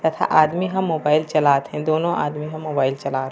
तथा आदमी ह मोबाइल चलात हे दोनों आदमी ह मोबाइल चलात हे।